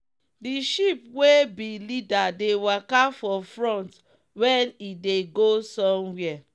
the sheep wey be leader dey waka for front when e dey go somewhere.